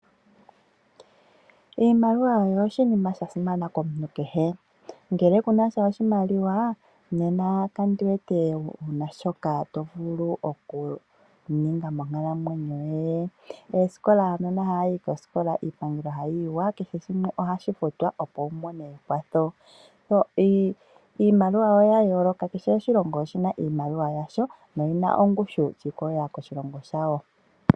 Iimaliwa oyo oshinima sha simana komuntu kehe. Ngele kunasha oshimaliwa nena kandiwete wuna shoka tovulu okuninga monkalamwenyo yoye. Iimaliwa oya yooloka ano kehe oshilongo oshina iimaliwa yasho noyina ongushu shi ikolelela koshilongo shawo.